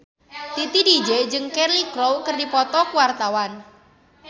Titi DJ jeung Cheryl Crow keur dipoto ku wartawan